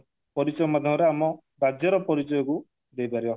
ପରିଚୟ ମାଧ୍ୟମରେ ଆମ ରାଜ୍ୟର ପରିଚୟକୁ ଦେଇପାରିବ